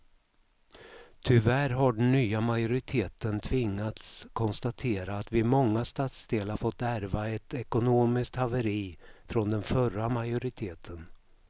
Tyvärr har den nya majoriteten tvingats konstatera att vi i många stadsdelar fått ärva ett ekonomiskt haveri från den förra majoriteten.